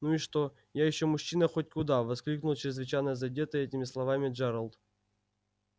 ну и что я ещё мужчина хоть куда воскликнул чрезвычайно задетый этими словами джералд